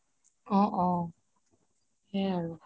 অহ অহ সেইয়াই আৰু